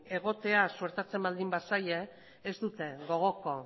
egotea suertatzen bazaie ez dute gogoko